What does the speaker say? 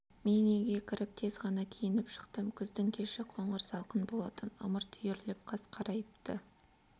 мен үйге кіріп тез ғана киініп шықтым күздің кеші қоңыр салқын болатын ымырт үйіріліп қас қарайыпты